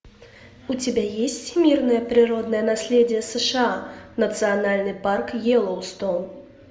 у тебя есть всемирное природное наследие сша национальный парк йеллоустоун